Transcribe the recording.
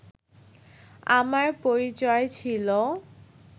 আমার পরিচয় ছিল